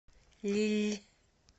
лилль